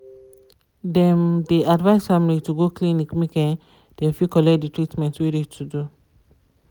dem de advise family to go clinic make um dem fit collect de treatment wey de to do.